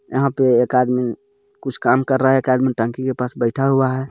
यहां पर एक आदमी कुछ काम कर रहा है एक आदमी टंकी के पास बैठा हुआ है.